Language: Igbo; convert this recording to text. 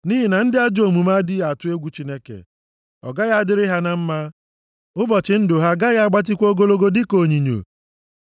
Nʼihi na ndị ajọ omume adịghị atụ egwu Chineke, ọ gaghị adịrị ha na mma, ụbọchị ndụ ha agaghị agbatịkwa ogologo dịka onyinyo.